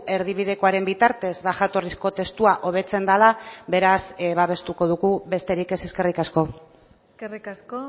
erdibidekoaren bitartez jatorrizko testua hobetzen dela beraz babestuko dugu besterik ez eskerrik asko eskerrik asko